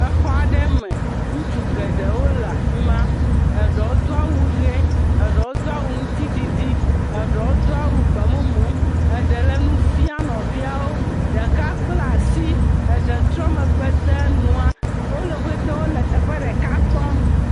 Exɔ aɖe me. Ŋutsu geɖewo le afi ma. Eɖewo do awu ʋee. Eɖewo do awu ŋutiɖiɖi. Eɖewo do awu gbemumu. Eɖe le nu fia nɔviawo. Ɖka kplaa si. Eɖe trɔ megbe de nua. Wole, wo ƒete wole teƒe ɖeka kpɔm.